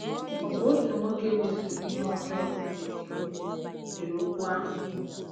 Ọ bụ otu nwoke e mesoro ihe ọjọọ dere dere okwu ahụ.